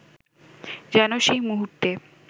যেন সেই মুহূর্তে